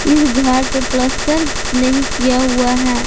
इस घर पर पलस्तर नहीं किया हुआ है।